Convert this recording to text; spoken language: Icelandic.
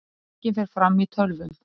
Talningin fer fram í tölvum